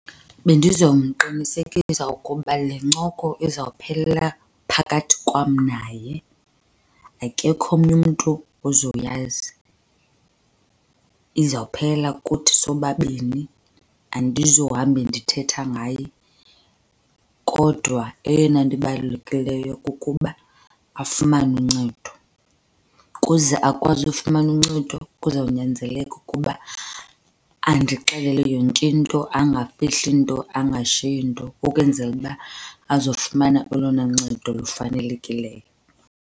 Bendizawumqinisekisa ukuba le ncoko izawuphelela phakathi kwam naye, akekho omnye umntu ozoyazi. Izawuphelela kuthi sobabini, andizuhamba ndithetha ngaye. Kodwa eyona nto ibalulekileyo kukuba afumane uncedo. Ukuze akwazi ufumana uncedo kuzawunyanzeleka ukuba andixelele yonke into, angafihli nto, angashiyi nto ukwenzela uba azofumana olona ncedo lufanelekileyo.